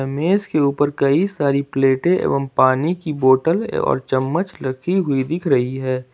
मेज के ऊपर कई सारी प्लेटें एवं पानी की बोटल और चम्मच रखी हुई दिख रही है।